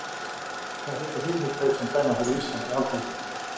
Hvaða heita hinir tveir sem dæma fyrir Ísland á Alþjóðavettvangi?